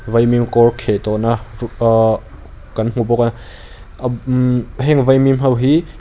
vawimim kawr kheh tawh na kan hmu bawk a heng vaimim ho hi.